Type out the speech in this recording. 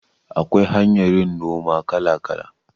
Akwai hanyar yin noma kala kala